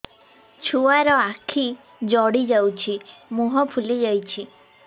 ଛୁଆର ଆଖି ଜଡ଼ି ଯାଉଛି ମୁହଁ ଫୁଲି ଯାଇଛି